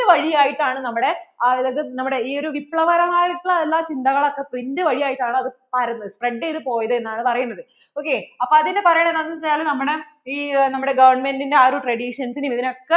print വഴിയായിട്ട് ആണ് നമ്മടെ നമ്മടെ ഈ ഒരു വിപ്ലകരമായിട്ട് ഉള്ള ചിന്തകൾ ഓക്കേ print വഴിയായിട്ട് ആണ് spread ചെയ്തു പോയത് എന്ന് ആണ് പറയണത് ok അപ്പോൾ അതിനെ പറയുന്നത് എന്താന്ന് വെച്ചാല് ഈ നമ്മടെ ഈ Government ന്‍റെ ആ ഒരു traditions നെ ഒക്കെ